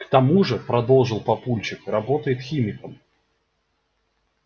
к тому же продолжил папульчик работает химиком